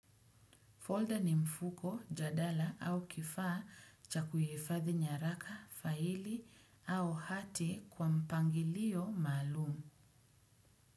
Folder ni mfuko, jadala au kifaa cha kuhifadhi nyaraka, faili au hati kwa mpangilio maalumu.